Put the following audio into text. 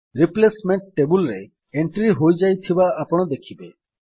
replacement table ରେ entry ହୋଇଯାଇଥିବା ଆପଣ ଦେଖିବେ